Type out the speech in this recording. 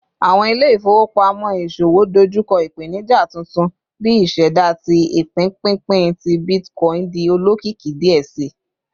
Awọn ile-ifowopamọ iṣowo dojukọ ipenija tuntun bi iseda ti ipinpinpin ti bitcoin di olokiki diẹ sii